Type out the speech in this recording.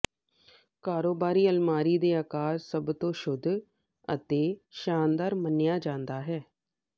ਕਾਰੋਬਾਰੀ ਅਲਮਾਰੀ ਦੇ ਆਕਾਰ ਸਭ ਤੋਂ ਸ਼ੁੱਧ ਅਤੇ ਸ਼ਾਨਦਾਰ ਮੰਨਿਆ ਜਾਂਦਾ ਹੈ